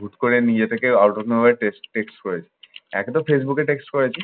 হুট করে নিয়ে যেতে কেউ out of knowledge text ফেক্সট করে। একে তো ফেসবুকে text করেছি